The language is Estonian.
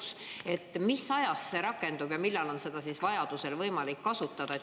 Mis ajast see rakendub ja millal on seda vajaduse korral võimalik kasutada?